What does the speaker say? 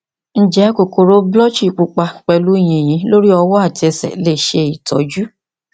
nje kokoro blutchy pupa pelu yinyun lori owo ati ese lese itoju